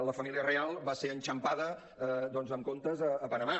la família reial va ser enxampada doncs amb comptes a panamà